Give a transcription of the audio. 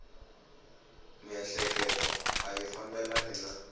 miehleketo a yi fambelani na